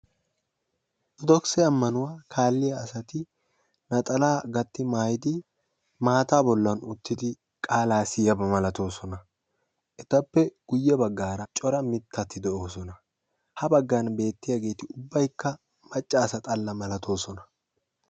Orttodokisse ammanuwaa kaaliyaa asati naxalaa gatti maayyidi maata bollan uttidi qaala siyiyaaba malatoosona etappe guyye bagaara mittati de'oosona. etappe corati macca asaa malatoosona.